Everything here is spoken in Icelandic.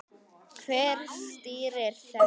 Hver stýrir þessu?